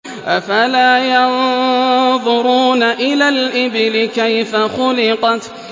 أَفَلَا يَنظُرُونَ إِلَى الْإِبِلِ كَيْفَ خُلِقَتْ